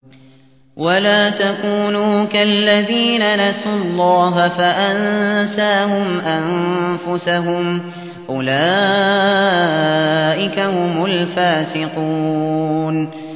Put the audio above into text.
وَلَا تَكُونُوا كَالَّذِينَ نَسُوا اللَّهَ فَأَنسَاهُمْ أَنفُسَهُمْ ۚ أُولَٰئِكَ هُمُ الْفَاسِقُونَ